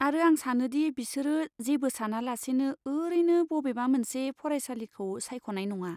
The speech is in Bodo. आरो आं सानोदि बिसोरो जेबो सानालासेनो ओरैनो बबेबा मोनसे फरायसालिखौ सायख'नाय नङा।